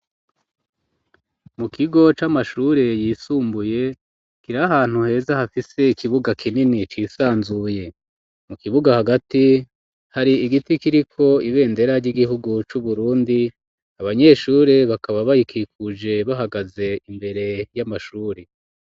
Mu kigo c'amashuri yisumbuye kiri ahantu heza hafise ikibuga kinini cisanzuye mu kibuga hagati hari igiti kiriko ibendera ry'igihugu c'uburundi abanyeshuri bakaba bayikikuje bahagaze imbere y'amashuri.